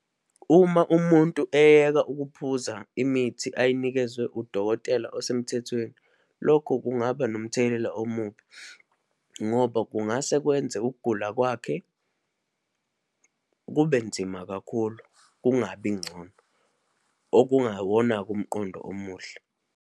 Uma umuntu eyeka ukuphuza imithi ayinikezwe udokotela osemthethweni, lokho kungaba nomthelela omubi, ngoba kungase kwenze ukugula kwakhe kube nzima kakhulu, kungabi ngcono, okungawona-ke umqondo omuhle.